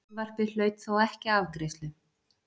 Frumvarpið hlaut þó ekki afgreiðslu.